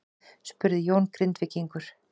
spurði Jón Grindvíkingur.